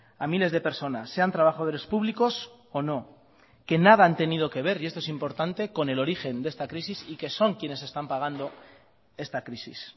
a miles de personas sean trabajadores públicos o no que nada han tenido que ver y esto es importante con el origen de esta crisis y que son quienes están pagando esta crisis